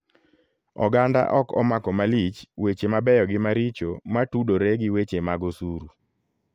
Oganda ok omako malich weche mabeyo gi maricho matudore gi weche mag osuru.